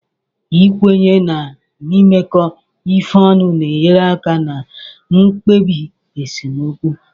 Ikwenye na imekọ ihe ọnụ na-enyere aka na mkpebi esemokwu